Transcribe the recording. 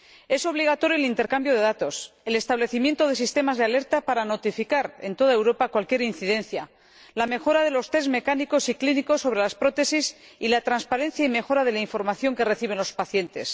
Es obligatorio el intercambio de datos, el establecimiento de sistemas de alerta para notificar en toda Europa cualquier incidencia, la mejora de los tests mecánicos y clínicos sobre las prótesis y la transparencia y mejora de la información que reciben los pacientes.